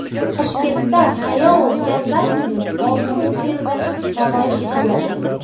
Toshkentda Hayao Miyazakining olti multfilmi namoyish etiladi.